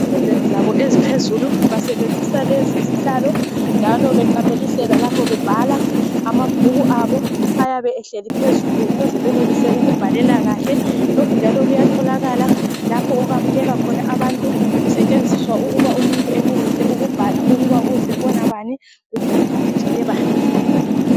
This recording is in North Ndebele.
Ezifundweni zabo eziphezulu, basebenzisa lezizihlalo, njalo beqamelisela lapho bebhala. Amabhuku abo ayabe ehleli phezulu, ukuze benelise ukubhala kahle. lapha bebhala. Basebenzisa lezingwalo. Lokhu njalo kuyatholakala, lapho okwamukelwa khona abantu kusetshenziswa ukubhala ukuthi umuntu uzebona bani, kumbe uvakatshele bani.